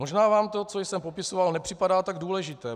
Možná vám to, co jsem popisoval, nepřipadá tak důležité.